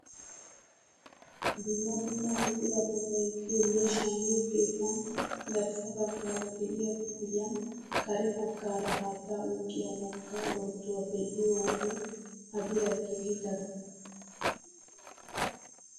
Dumma dumma buqurata bayzziyoonne shammiyoo keettan garssa baggaara de'iyaa kifiliyaan kare baggaara haattaa oyqqiyaa wogga oroottuwa be'iyoo wode a biray keehi daro!